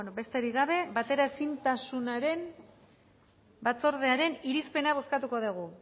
bueno besterik gabe bateraezintasunaren batzordearen irizpena bozkatuko dugu